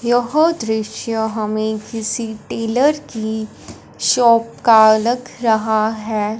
यह दृश्य हमें किसी टेलर की शॉप का लग रहा है।